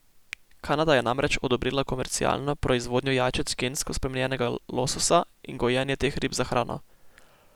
Kanada je namreč odobrila komercialno proizvodnjo jajčec gensko spremenjenega lososa in gojenje teh rib za hrano.